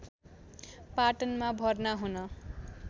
पाटनमा भर्ना हुन